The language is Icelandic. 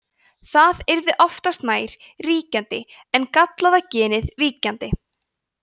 það yrði oftast nær ríkjandi en gallaða genið víkjandi